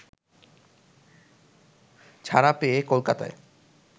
ছাড়া পেয়ে কলকাতায়